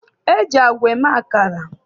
E ji agwa eme akara.